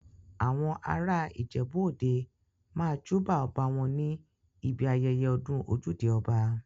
Àwọn ará ìjèbú òde máa júbà ọba wọn ní ibi ayẹyẹ ọdún ojúde ọba.